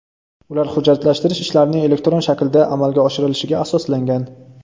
U hujjatlashtirish ishlarining elektron shaklda amalga oshirilishiga asoslangan.